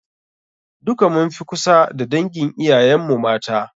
Duka mun fi kusa da dangin iyayen mu mata.